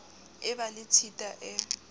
e ba le tshita e